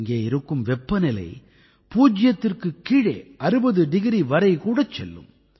இங்கே இருக்கும் வெப்பநிலை பூஜ்யத்திற்குக் கீழே 60 டிகிரி வரை கூட செல்லும்